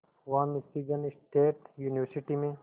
वहां Michigan State University में